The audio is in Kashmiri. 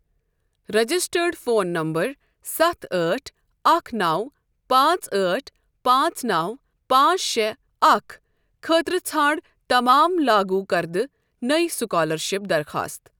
رجسٹٲڈ فون نمبر سَتھ ٲٹھ اَکھ نَو پانٛژھ ٲٹھ پانٛژھ نَو پانٛژھ شےٚ اَکھ خٲطرٕٕ ژھانڑ تمام لاگوٗ کردٕ نٔے سُکالرشِپ درخاستہٕ۔